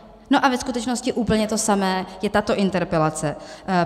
No a ve skutečnosti úplně to samé je tato interpelace.